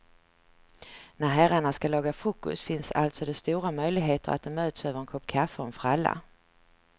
När herrarna ska laga frukost finns alltså det stora möjligheter att de möts över en kopp kaffe och en fralla.